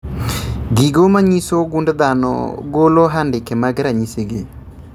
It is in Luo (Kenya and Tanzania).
Gigo manyiso gund dhano golo andike mag ranyisi gi